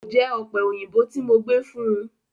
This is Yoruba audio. Kò jẹ ọ̀pẹ òyìnbó tí mo gbé fún un.